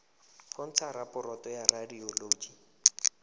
go ntsha raporoto ya radioloji